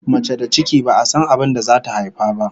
Mace da ciki, ba'a san abin da zata haifa ba!